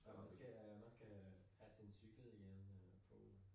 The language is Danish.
Man skal man skal have sin cykel i en øh pool